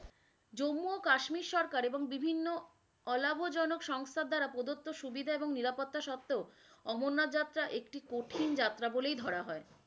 জম্মু ও কাশ্মীর সরকার এবং বিভিন্ন অলাভজনক সংস্থার দ্বারা প্রদত্ত সুবিধা এবং নিরাপত্তা সত্বেও অমরনাথ যাত্রা একটু কঠিন যাত্রা বলেই ধরা হয়।